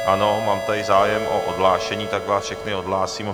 Ano, mám tady zájem o odhlášení, tak vás všechny odhlásím.